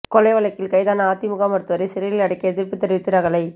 கொலை வழக்கில் கைதான அதிமுக மருத்துவரை சிறையில் அடைக்க எதிர்ப்பு தெரிவித்து ரகளை